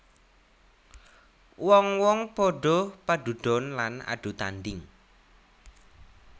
Wong wong padha padudon lan adu tandhing